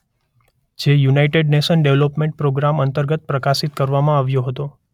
જે United Nations Development Programme અંતર્ગત પ્રકાશિત કરવામાં આવ્યો હતો.